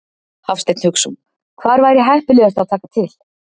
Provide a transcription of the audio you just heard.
Hafsteinn Hauksson: Hvar væri heppilegast að taka til?